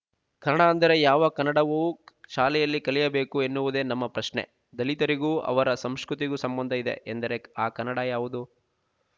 ಕನ್ನಡ ಅಂದರೆ ಯಾವ ಕನ್ನಡವು ಶಾಲೆಯಲ್ಲಿ ಕಲಿಯಬೇಕು ಎನ್ನುವುದೆ ನಮ್ಮ ಪ್ರಶ್ನೆ ದಲಿತರಿಗೂ ಅವರ ಸಂಶ್ಕ್ರುತಿಗೂ ಸಂಬಂಧ ಇದೆ ಎಂದರೆ ಆ ಕನ್ನಡ ಯಾವುದು